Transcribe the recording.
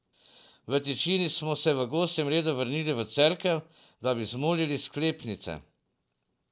V tišini smo se v gosjem redu vrnili v cerkev, da bi zmolili sklepnice.